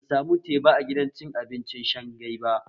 Ban samu teba a gidan cin abinci Shanghai ba